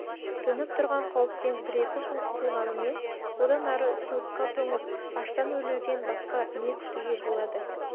төніп тұрған қауіптен бір-екі күн құтылғаныммен одан ары суыққа тоңып аштан өлуден басқа не күтуге болады